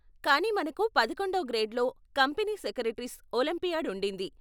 కానీ మనకు పదకొండో గ్రేడ్లో కంపనీ సెక్రెటరీస్ ఒలింపియాడ్ ఉండింది.